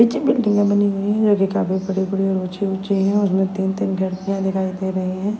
बनी हुईं हैं जो की काफी बड़े- बड़े और ऊँचे ऊँचे हैं दिखाई दे रही हैं।